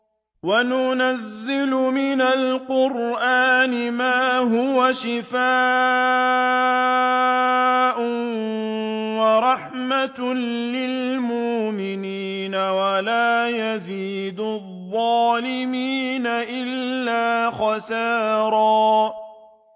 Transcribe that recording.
وَنُنَزِّلُ مِنَ الْقُرْآنِ مَا هُوَ شِفَاءٌ وَرَحْمَةٌ لِّلْمُؤْمِنِينَ ۙ وَلَا يَزِيدُ الظَّالِمِينَ إِلَّا خَسَارًا